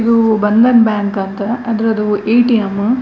ಇದು ಬಂಧನ್ ಬ್ಯಾಂಕ್ ಅಂತ ಅದರದ್ದು ಎ_ಟಿ_ಎಂ .